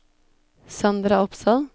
Sandra Opsahl